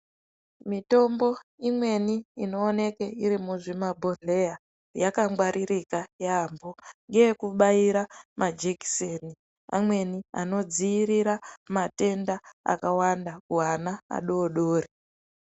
Mitombo imweni inooneke iri muzvimabhodhleya yakangwaririka yaambo ngeyekubaira majekiseni amweni anodziirira matenda akawanda kuana adori dori.